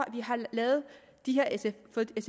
med